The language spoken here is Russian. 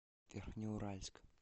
верхнеуральск